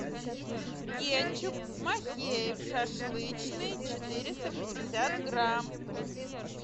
кетчуп махеев шашлычный четыреста пятьдесят грамм